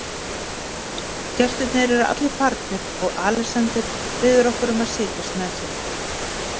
Gestirnir eru allir farnir og Alexander biður okkur um að setjast með sér.